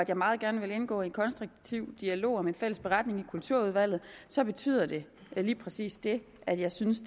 jeg meget gerne vil indgå i en konstruktiv dialog om en fælles beretning i kulturudvalget så betyder det lige præcis det at jeg synes